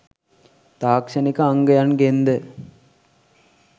තාක්ෂණික අංගයන්ගෙන් ද